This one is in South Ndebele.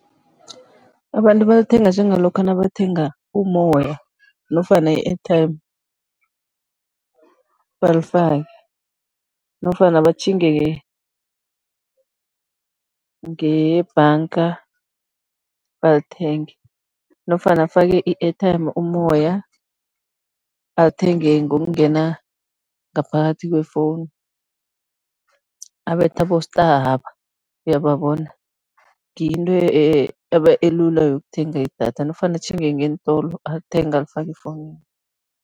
Abantu balithenga njengalokha nabathenga ummoya nofana i-airtime, balifake nofana batjhinge ngebhanga balithenge nofana afake i-airtime, ummoya, athenge ngokungena ngaphakathi kwefowunu, abethe abo-star laba, uyabababona? Ngiyo into elula yokuthenga idatha nofana atjhinge ngeentolo, alithenge, alifake efowunini.